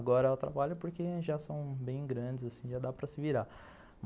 Agora ela trabalha porque já são bem grandes assim, já dá para se virar.